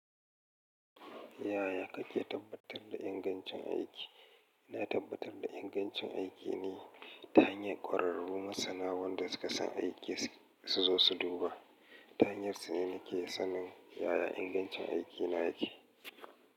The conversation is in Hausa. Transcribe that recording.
Yaya kake tabbatar da ingancin aiki? Ina tabbatar da ingancin aiki ne ta hanyar ƙwararru masana wanda suka san aikin su zo su duba. Ta hanyar su ne nake sanin yaya ingancin aiki na yake.